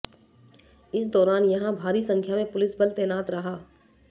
इस दौरान यहां भारी संख्या में पुलिस बल तैनात रहा